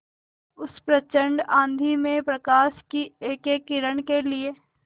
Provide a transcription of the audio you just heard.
उस प्रचंड आँधी में प्रकाश की एकएक किरण के लिए